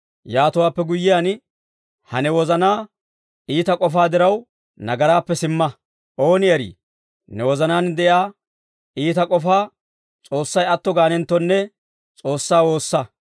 Yaatowaappe guyyiyaan ha ne wozanaa iita k'ofaa diraw, nagaraappe simma; ooni eri ne wozanaan de'iyaa iita k'ofaa S'oossay atto gaanenttonne S'oossaa woossa.